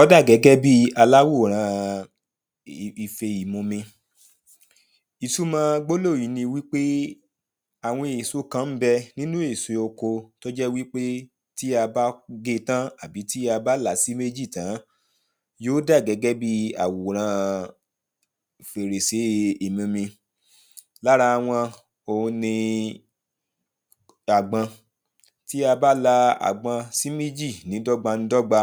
Ó dà gẹ́gẹ́ bi aláwòrán ife ìmumi Ìtumọ̀ gbólóhùn yìí ni àwọn èso kan ń bẹ nínu èso oko tó jẹ́ wípé tí a bá ge tan àbí tí a bá là á sí méjì tán, yóò dà gẹ́gẹ́ bi àwòrán fèrèsé ìmumi Lára wọn òun ni àgbọn. Tí a bá la àgbọn sí méjì ní dọ́gbandọ́gba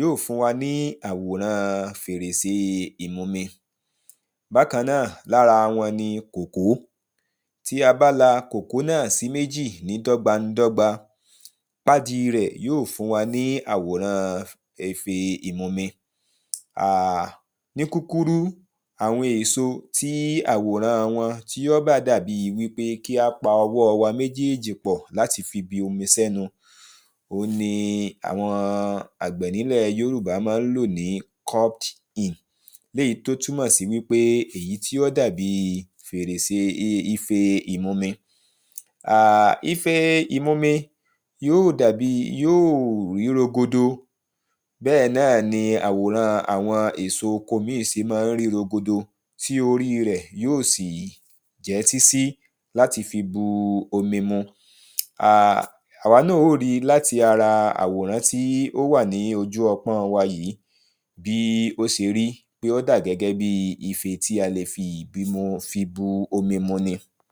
yóò fún wa ní àwòrán fèrèsé ìmumi Bákan náà, lára wọn ni kòkó. Tí a bá la kòkó náà sí méjì ní dọ́gbańdọ́gba, pádi rẹ̀ yóò fún wa ní àwòrán ife ìmumi ah Ní kúkúrú, àwọn èso tí àwòran wọn tí yóò bá dà bi wípé kí a pa ọwọ́ wa méjéèjì pọ̀ láti fi omi sẹ́nu, òun ni àwọn àgbẹ̀ nílẹ̀ yórùbá máá ń lò ní?, léyìí tó túmọ̀ sí wípé èyí tí ó dà bi fèrèse ife ìmumi ah Ife ìmumi yóò dà bi, yóò rí rogodo. Bẹ́ẹ̀ náà ni àwòran àwọn èso oko míì se mọ́ ń rí rogodo tí ori rẹ̀ yóò sì jẹ́ sísí láti fi bu omi ah Àwa náà ó ri láti ara àwòrán tí ó wà ní ojú ọpọ́n wa yìí, bí ó se rí, ó dà gẹ́gẹ́ bí ife tí a le fi bu omi mu ni